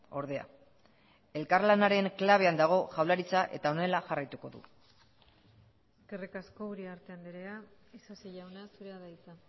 ordea elkarlanaren klabean dago jaurlaritza eta honela jarraituko du eskerrik asko uriarte andrea isasi jauna zurea da hitza